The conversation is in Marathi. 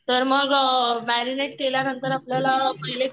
तर मग केल्यानंतर आपल्याला